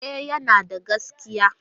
E, yana da gaskiya.